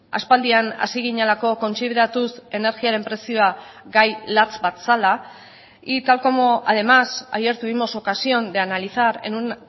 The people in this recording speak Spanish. aspaldian hasi ginelako kontsideratuz energiaren prezioa gai latz bat zela y tal como además ayer tuvimos ocasión de analizar en un